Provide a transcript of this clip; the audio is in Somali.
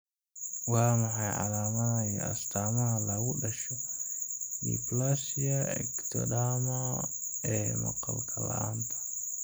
Waa maxay calaamadaha iyo astamaha lagu dhasho dysplasia ectodermal ee maqal la'aanta?